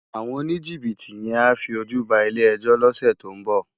Áwòn ónijibiti yèn á fi ójú bá ilé èjò lòsè tó n bò